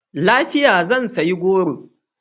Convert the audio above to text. Lafiya! Zan sayi goro.